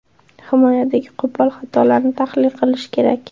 Himoyadagi qo‘pol xatolarni tahlil qilish kerak.